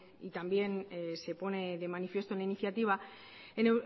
también se pone de manifiesto en la iniciativa